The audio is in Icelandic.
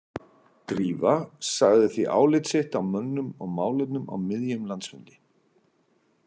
Drífa sagði því álit sitt á mönnum og málefnum á miðjum landsfundi.